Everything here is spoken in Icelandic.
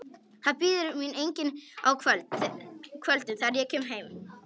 Það bíður mín enginn á kvöldin, þegar ég kem heim.